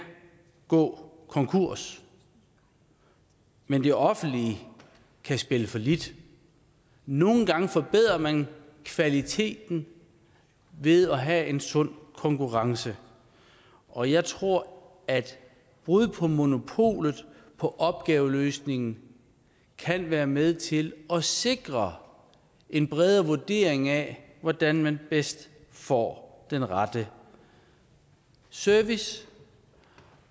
gå konkurs men det offentlige kan spille fallit nogle gange forbedrer man kvaliteten ved at have en sund konkurrence og jeg tror at et brud på monopolet på opgaveløsningen kan være med til at sikre en bredere vurdering af hvordan man bedst får den rette service